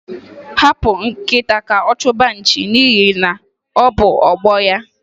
Hapụ nkịta ka ọ chụba nchi n'ihi na ọ bụ ọgbọ ya.